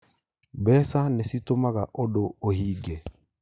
Mbeca nĩcitũmaga ũndũ ũhinge